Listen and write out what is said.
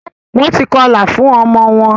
Wón tí kọla fun omo won